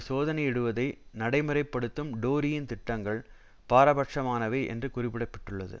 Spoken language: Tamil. சோதனையிடுவதை நடைமுறைப்படுத்தும் டோரியின் திட்டங்கள் பாரபட்சமானவை என்று குறிப்பிட்டிருக்கிறது